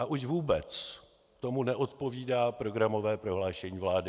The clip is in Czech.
A už vůbec tomu neodpovídá programové prohlášení vlády.